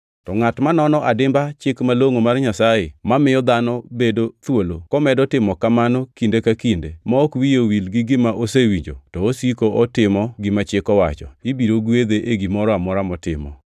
To ngʼat manono adimba Chik malongʼo mar Nyasaye mamiyo dhano bedo thuolo, komedo timo kamano kinde ka kinde, ma ok wiye owil gi gima osewinjo, to osiko otimo gima Chik owacho, ibiro gwedhe e gimoro amora motimo.